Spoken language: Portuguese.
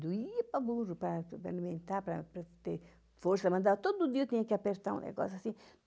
Doía para burro, para para alimentar, para para ter força, mas todo dia eu tinha que apertar um negócio assim.